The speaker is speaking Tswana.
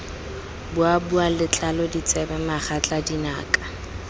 boboa letlalo ditsebe megatla dinaka